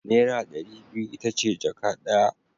Naira dari biyu itace jaka daya